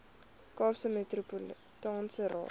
kaapse metropolitaanse raad